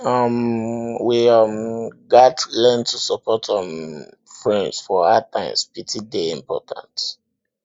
um we um gats learn to support um friends for hard times pity dey important